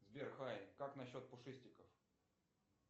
сбер хай как насчет пушистиков